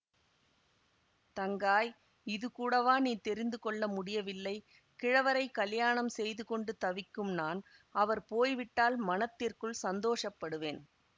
தங்காய் இதுகூடவா நீ தெரிந்து கொள்ள முடியவில்லை கிழவரைக் கலியாணம் செய்துகொண்டு தவிக்கும் நான் அவர் போய்விட்டால் மனத்திற்குள் சந்தோஷப்படுவேன்